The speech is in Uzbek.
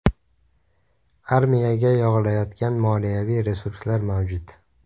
Armiyaga yog‘ilayotgan moliyaviy resurslar mavjud.